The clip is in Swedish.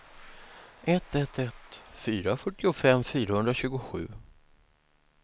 ett ett ett fyra fyrtiofem fyrahundratjugosju